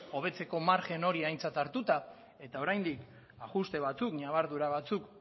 hobetzeko margen hori aintzat hartuta eta oraindik ajuste batzuk ñabardura batzuk